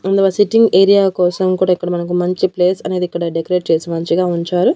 అందులో వాళ్ళు sitting area కోసం కూడా ఇక్కడ మనకు మంచి ప్లేస్ అనేది ఇక్కడ మనకి డెకరేట్ చేసి మంచిగా ఉంచారు.